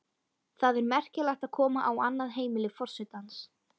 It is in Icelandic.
Það er merkilegt að koma á annað heimili forsetans.